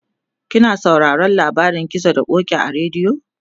kina sauraron labarin gizo da ƙoki a radio?